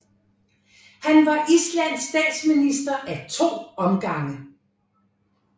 Han var Islands statsminister ad to omgange